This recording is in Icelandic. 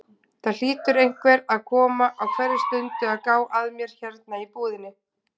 Það hlýtur einhver að koma á hverri stundu að gá að mér hérna í búðinni.